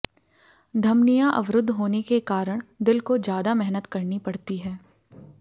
धमनियां अवरुद्ध होने के कारण दिल को ज्यादा मेहनत करनी पड़ती है